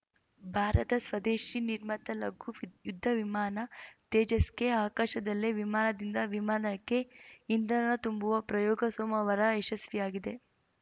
ಭಾರತ ಸ್ವದೇಶಿ ನಿರ್ಮಿತ ಲಘು ವಿದ್ ಯುದ್ಧ ವಿಮಾನ ತೇಜಸ್‌ಗೆ ಆಕಾಶದಲ್ಲೇ ವಿಮಾನದಿಂದವಿಮಾನಕ್ಕೆ ಇಂಧನ ತುಂಬುವ ಪ್ರಯೋಗ ಸೋಮವಾರ ಯಶಸ್ವಿಯಾಗಿದೆ